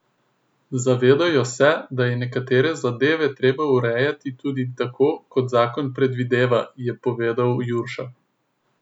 Zavedajo se, da je nekatere zadeve treba urejati tudi tako, kot zakon predvideva, je povedal Jurša.